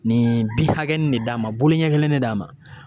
Nin bin hakɛnin de d'a ma, bolo ɲɛ kelen de d'a ma.